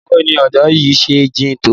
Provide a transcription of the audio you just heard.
Bawo ni odo yi se jin to?